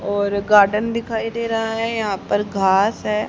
और गार्डन दिखाई दे रहा है यहां पर घास है।